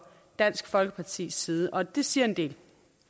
dansk folkepartis side og det siger en del